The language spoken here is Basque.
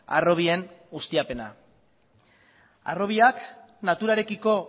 harrobien ustiapena harrobiak naturarekiko